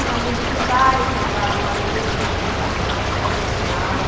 Os amigos do bairro que moravam ali, né, na mesma rua e tal.